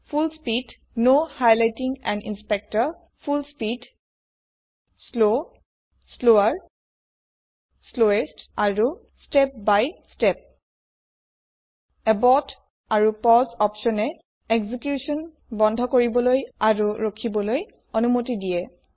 ফুল speed full speed slow slower slowest আৰু step by step abort আৰু পাউচে অপছনে একজিকিউছন বন্ধ কৰিবলৈ আৰু ৰখিবলৈ অনুমতি দিয়ে